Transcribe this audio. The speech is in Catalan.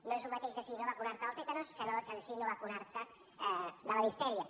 no és el mateix decidir no vacunar te del tètanus que decidir no vacunar te de la diftèria